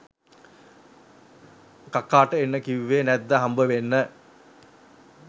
කකාට එන්න කිව්වෙ නැද්ද හම්බවෙන්න?